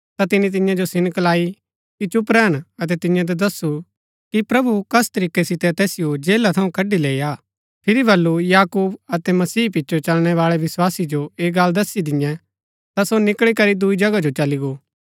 ता तिनी तियां जो सिनक लाई कि चुप रैहन अतै तियां जो दस्सु कि प्रभु कस तरीकै सितै तैसिओ जेला थऊँ कड़ी लैई आ फिरी बल्लू याकूब अतै मसीह पिचो चलणै बाळै विस्वासी जो ऐह गल्ल दस्सी दिन्यै ता सो निकळी करी दूई जगह जो चली गो